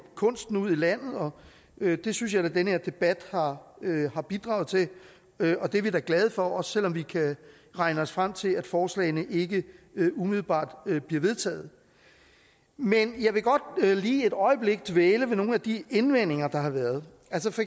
kunsten ud i landet og det synes jeg at den her debat har har bidraget til og det er vi da glade for også selv om vi kan regne os frem til at forslagene ikke umiddelbart bliver vedtaget men jeg vil godt lige et øjeblik dvæle ved nogle af de indvendinger der har været